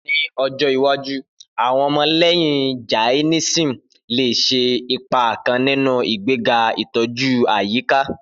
Ni ọjọ iwaju, awọn ọmọlẹhin Jainism le ṣe ipa kan ninu igbega itoju ayika.